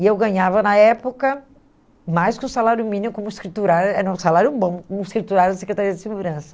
E eu ganhava na época mais que o salário mínimo como escriturária, era um salário bom como escriturária da Secretaria de Segurança.